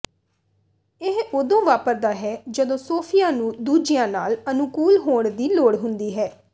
ਇਹ ਉਦੋਂ ਵਾਪਰਦਾ ਹੈ ਜਦੋਂ ਸੋਫੀਆ ਨੂੰ ਦੂਜਿਆਂ ਨਾਲ ਅਨੁਕੂਲ ਹੋਣ ਦੀ ਲੋੜ ਹੁੰਦੀ ਹੈ